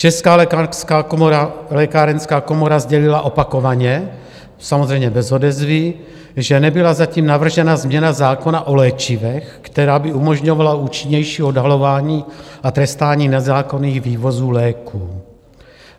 Česká lékárenská komora sdělila opakovaně - samozřejmě bez odezvy - že nebyla zatím navržena změna zákona o léčivech, která by umožňovala účinnější odhalování a trestání nezákonných vývozů léků.